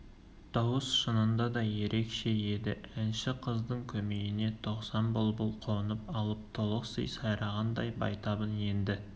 дауыс шынында да ерекше еді әнші қыздың көмейіне тоқсан бұлбұл қонып алып толықси сайрағандай байтабын енді